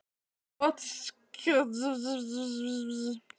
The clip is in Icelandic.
Trotskíistar vildu aftur á móti ráðast að sjálfu kúgunartækinu: prófunum.